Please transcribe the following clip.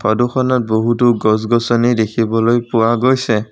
ফটোখনত বহুতো গছ গছনি দেখিবলৈ পোৱা গৈছে।